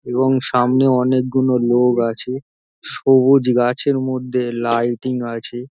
এবং সামনে অনেক গুলো লোক আছে সবুজ গাছের মধ্যে লাইটিং আছে |